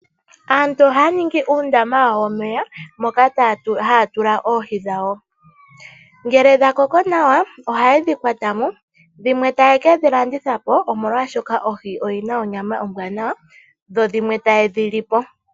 Aantu ohaya ningi uundama wawo womeya moka haya tula oohi dhawo. Ngele dha koko nawa ohaye dhi kwatamo dhimwe taye kedhi landithapo omolwashika oho oyina onyama ombwanawa dho dhimwe ta yedhi lipo.